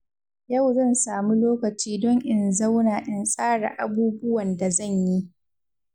Yau zan samu lokaci don in zauna in tsara abubuwan da zan yi.